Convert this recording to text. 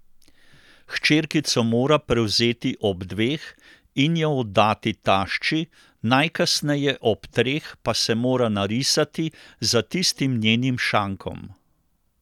Hčerkico mora prevzeti ob dveh in jo oddati tašči, najkasneje ob treh pa se mora narisati za tistim njenim šankom.